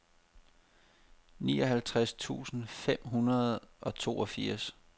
nioghalvtreds tusind fem hundrede og toogfirs